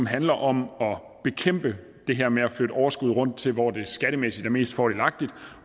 handler om at bekæmpe det her med at flytte overskud rundt til hvor det skattemæssigt er mest fordelagtigt